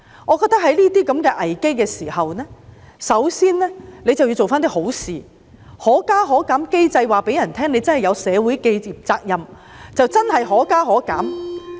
我覺得在出現這些危機的時候，港鐵公司首先要做些好事，通過"可加可減"機制，以示自己真的有社會責任，真的"可加可減"。